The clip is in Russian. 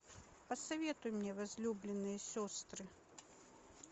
посоветуй мне возлюбленные сестры